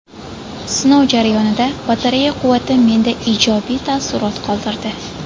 Sinov jarayonida batareya quvvati menda ijobiy taassurot qoldirdi.